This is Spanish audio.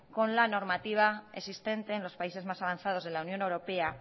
con la normativa existente en los países más avanzados de la unión europea